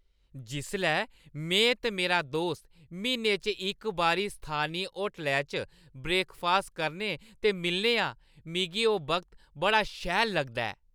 जिसलै में ते मेरा दोस्त म्हीने च इक बारी स्थानी होटलै च ब्रेकफास्ट करने ते मिलने आं, मिगी ओह् वक्त बड़ा शैल लगदा ऐ।